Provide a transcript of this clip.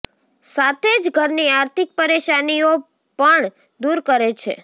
સાથે જ ઘરની આર્થિક પરેશાનીઓ પણ દૂર કરે છે